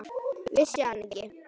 Vissi hann ekki?